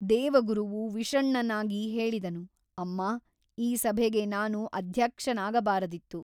ದೇವಗುರುವು ವಿಷಣ್ಣನಾಗಿ ಹೇಳಿದನು ಅಮ್ಮಾ ಈ ಸಭೆಗೆ ನಾನು ಅಧ್ಯಕ್ಷನಾಗಬಾರದಿತ್ತು.